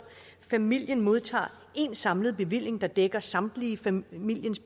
familien modtager én samlet bevilling der dækker samtlige familiens